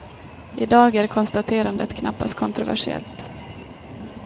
I dag är konstaterandet knappast kontroversiellt.